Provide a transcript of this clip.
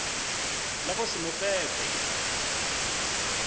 le go se mo fepe